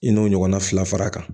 I n'o ɲɔgɔnna fila fara a kan